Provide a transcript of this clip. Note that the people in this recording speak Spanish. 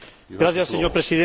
Señor Presidente,